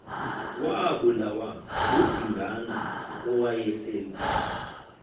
wabulawa ngudingana owayesel